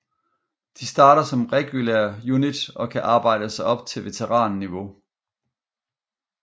De starter som regular unit og kan arbejde sig op til veteranniveau